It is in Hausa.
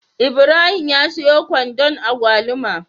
Ibrahim ya siyo kwandon agwaluma